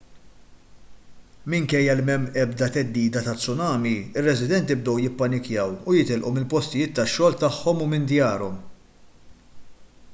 minkejja li m'hemm l-ebda theddida ta' tsunami ir-residenti bdew jippanikjaw u jitilqu mill-postijiet tax-xogħol tagħhom u minn djarhom